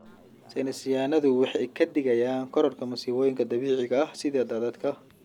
Saynis yahanadu waxay ka digayaan kororka masiibooyinka dabiiciga ah sida daadadka.